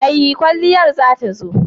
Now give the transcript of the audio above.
Mai kwalliyar za ta zo?